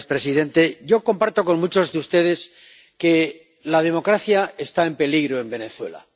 Señor presidente, yo comparto con muchos de ustedes que la democracia está en peligro en Venezuela.